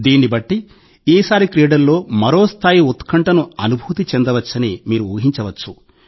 దీన్ని బట్టి ఈసారి క్రీడల్లో మరో స్థాయి ఉత్కంఠను అనుభూతి చెందవచ్చని మీరు ఊహించవచ్చు